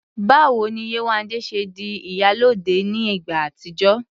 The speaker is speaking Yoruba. Báwo ni Yéwandé ṣe di "ìyálóde" ní ìgbà àtijọ́?